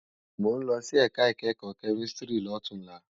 Mó n lòsí èká ikèékò kèmísìtírì lótúnlá